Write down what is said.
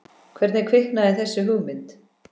Hvernig kviknaði þessi hugmynd?